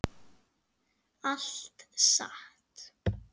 Allt satt.